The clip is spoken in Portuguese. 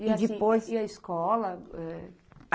E depois... E assim e a escola, é?